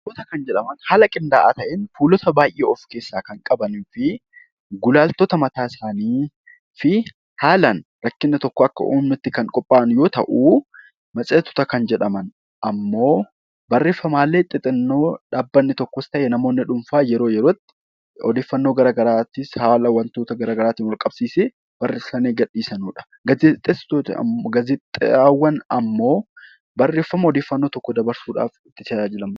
Kitaabota kan jedhaman haala qindaa'aa ta'een fuulota baay'ee kan of keessaa qabanii fi gulaaltota mataa isaanii fi haalaan kan qophaa'an yoo ta'u, matseetii kan jedhamu immoo barreeffamaalee xixinnoo dhaabbanni tokkos ta'ee namoonni dhuunfaa yeroo yerootti odeeffannoo garaagaraa haala wantoota garaagaraan wal qabsiisee barreeffamee gadhiifamudha. Gaazexaawwan immoo barreeffama ergaa tokko dabarsuudhaaf barreeffamedha.